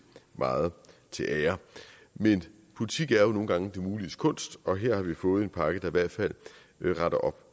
meget til ære men politik er jo nogle gange det muliges kunst og her har vi fået en pakke der i hvert fald retter op